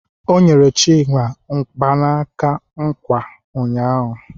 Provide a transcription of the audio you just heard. O nyere Chima mgbanaka nkwa ụnyaahụ.